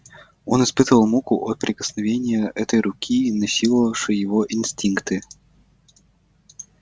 он испытывал муку от прикосновения этой руки насиловавшей его инстинкты